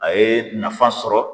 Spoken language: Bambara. A ye nafa sɔrɔ